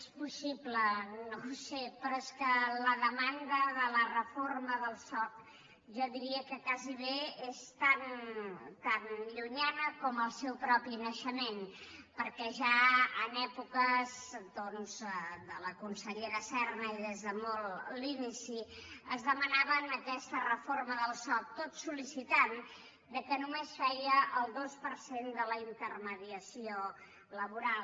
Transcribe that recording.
és possible no ho sé però és que la demanda de la reforma del soc jo diria que gairebé és tan llunyana com el seu propi naixement perquè ja en èpoques doncs de la consellera serna i des de molt a l’inici es demanava aquesta reforma del soc tot sol·licitant que només feia el dos per cent de la intermediació laboral